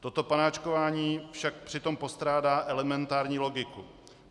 Toto panáčkování však přitom postrádá elementární logiku.